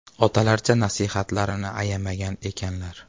Otalarcha nasihatlarini ayamagan ekanlar.